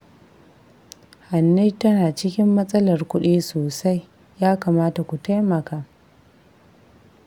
Hanne tana cikin matsalar kuɗi sosai, ya kamata ku taimaka